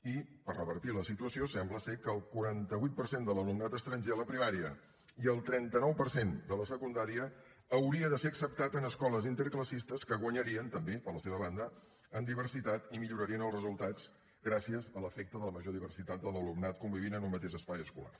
i per revertir la situació sembla ser que el quaranta vuit per cent de l’alumnat estranger de la primària i el trenta nou per cent de la secundària hauria de ser acceptat en escoles interclassistes que guanyarien també per la seva banda en diversitat i millorarien els resultats gràcies a l’efecte de la major diversitat d’alumnat que conviuria en un mateix espai escolar